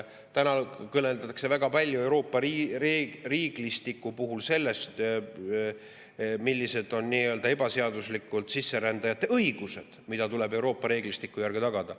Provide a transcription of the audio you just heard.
Täna kõneldakse väga palju Euroopa reeglistiku puhul sellest, millised on ebaseaduslikult sisserändajate õigused, mis tuleb Euroopa reeglistiku järgi tagada.